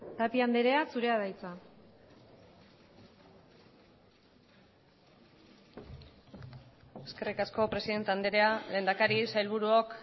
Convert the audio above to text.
tapia andrea zurea da hitza eskerrik asko presidente andrea lehendakari sailburuok